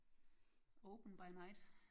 Open by night